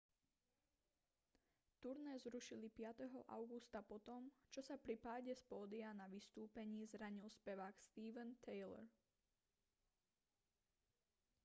turné zrušili 5. augusta po tom čo sa pri páde z pódia na vystúpení zranil spevák steven tyler